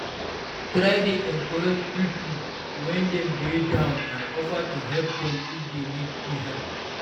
Try de encourage pipo when dem de down and offer to help dem if dey need di help